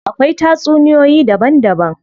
Akwai tatsuniyoyi daban daban.